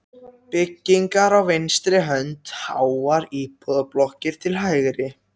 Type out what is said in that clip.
byggingar á vinstri hönd, háar íbúðablokkir til hægri.